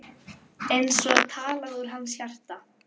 Sigurður gekk burt án þess að svara.